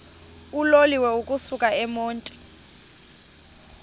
uloliwe ukusuk emontini